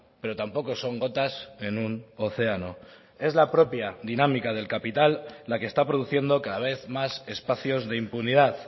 pero tampoco son gotas en un océano es la propia dinámica del capital la que está produciendo cada vez más espacios de impunidad